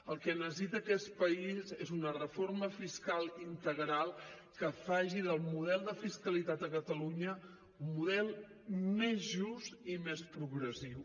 el que necessita aquest país és una reforma fiscal integral que faci del model de fiscalitat a catalunya un model més just i més progressiu